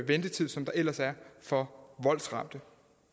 ventetiden ellers er for voldsramte